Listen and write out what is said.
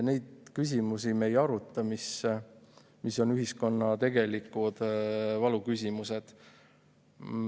Neid küsimusi me ei aruta, mis on ühiskonna tegelikud valuküsimused.